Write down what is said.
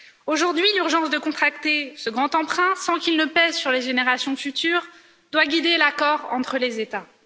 Aujourd'hui, l'urgence de contracter ce grand emprunt sans qu'il ne pèse sur les générations futures doit guider l'accord entre les États.